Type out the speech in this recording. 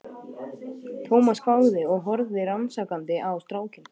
Thomas hváði og horfði rannsakandi á strákinn.